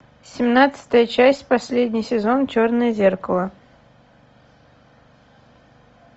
семнадцатая часть последний сезон черное зеркало